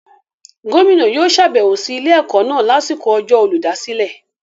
Gómìnà yóò sàbẹ̀wò sí ilé-ẹ̀kọ́ náà lásìkò ọjọ́ Olùdásílẹ̀.